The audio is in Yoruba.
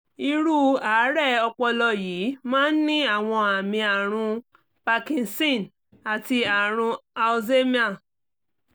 irú àárẹ̀ ọpọlọ yìí máa ń ní àwọn àmì àrùn parkinson àti àrùn alzheimer